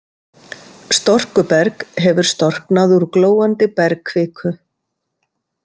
Storkuberg hefur storknað úr glóandi bergkviku.